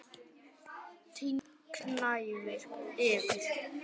Tindur gnæfir yfir.